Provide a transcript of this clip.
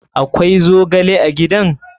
Akwai zogle a gidan?